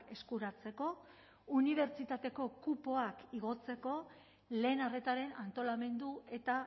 eskuratzeko unibertsitateko kupoak igotzeko lehen arretaren antolamendu eta